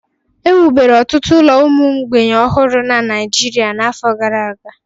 Ewubere ọtụtụ ụlọ ụmụ mgbei ọhụrụ na Naịjirịa n'afọ gara aga